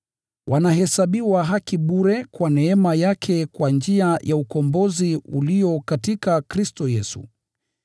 wanahesabiwa haki bure kwa neema yake kwa njia ya ukombozi ulio katika Kristo Yesu.